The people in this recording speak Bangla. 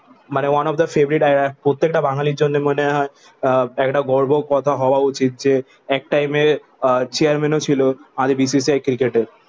মানে one of the favorite প্রত্যেকটা বাঙালির জন্যে মনে হয় আহ একটা গর্ব কথা হওয়া উচিত যে এক টাইমে চেয়ারম্যানও ছিল আগে BCCI cricket এ।